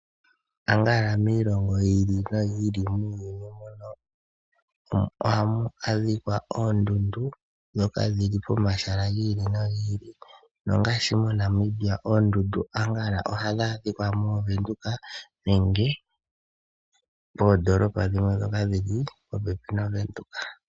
Konyala kiilongo yi ili noyi ili muuyuni muno ohamu adhikwa oondundu ndhoka dhili pomahala gi ili nogi ili. Nongaashi moNamibia oondundu konyala ohadhi adhikwa mOvenduka nenge